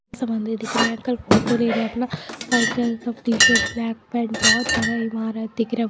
समुन्दर दिख रहे हैं अंकल फोटो ले रहे हैं अपना व्हाइट कलर का टीशर्ट ब्लैक पैंट बहुत बड़ा ईमारत दिख रहा है।